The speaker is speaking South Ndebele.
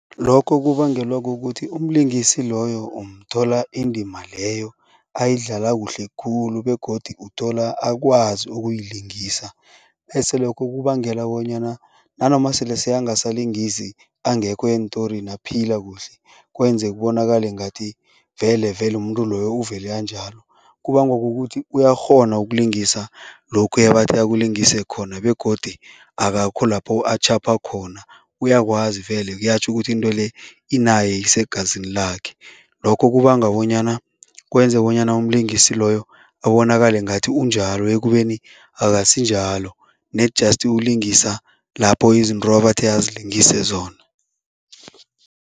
Lokho kubangelwa kukuthi umlingisi loyo umthola indima leyo ayidlala kuhle khulu begodu uthola akwazi ukuyilingisa bese lokho kubangela bonyana nanoma sele sekangasalingisi, angekho eentorini aphila kuhle, kwenze kubonakale ngathi velevele umuntu loyo uvele anjalo. Kubangwa kukuthi uyakghona ukulingisa lokhu ebathe akulingise khona begodi akakho lapho atjhapha khona, uyakwazi vele, kuyatjho ukuthi into le inaye, isegazini lakhe. Lokho kubanga bonyana kwenze bonyana umlingisi loyo abonakale ngathi unjalo ekubeni akusinjalo ned just ulingisa lapho izinto abathe azilingise zona.